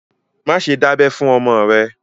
Má ṣe dábẹ fún ọmọ rẹ̀!